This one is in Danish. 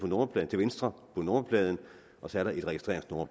nummerpladen til venstre på nummerpladen og så er der et registreringsnummer